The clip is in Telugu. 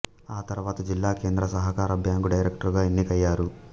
ఆ తర్వాత జిల్లా కేంద్ర సహకార బ్యాంకు డైరెక్టరుగా ఎన్నికయ్యారు